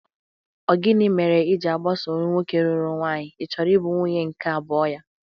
Ọ gini mere i ji agbaso nwoke lụrụla nwunye: ị chọrọ ị bụ nwunye nke abụo ya?